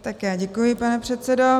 Já děkuji, pane předsedo.